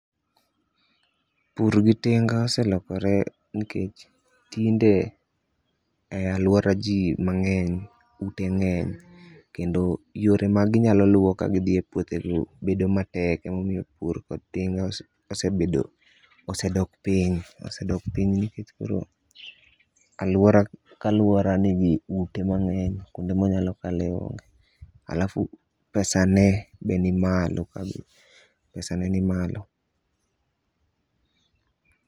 Pur gi tinga oselokore nikech tinde e aluora ji mangeny ute ngeny kendo yore ma gi nyalo luwo ka gi dhi e puothe go bedo matek e momiyo pur kod tinga osebedo, osedok piny. Osedok piny nikech koro aluora ka aluora nigi ute mangeny kwonde ma onyalo kale onge alafu pesa ne be ni malo.